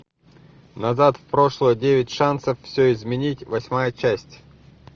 назад в прошлое девять шансов все изменить восьмая часть